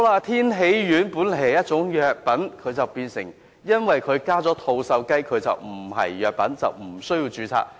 天喜丸本來是一種藥品，卻因為加入了吐綬雞，便不屬於藥品，無須註冊。